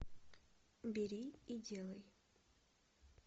бери и делай